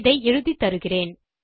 இதை எழுதித்தருகிறேன்